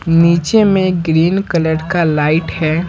नीचे में green colour का लाइट है।